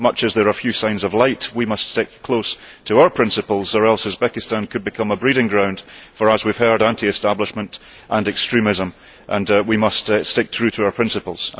Much as there are few signs of light, we must stick close to our principles or else Uzbekistan could become a breeding ground for as we have heard anti establishment and extremism, and we must stick true to our principles.